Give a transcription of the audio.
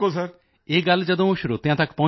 ਇਹ ਗੱਲ ਜਦੋਂ ਸਰੋਤਿਆਂ ਤੱਕ ਪਹੁੰਚੇਗੀ